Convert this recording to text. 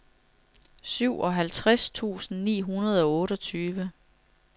syvoghalvtreds tusind ni hundrede og otteogtyve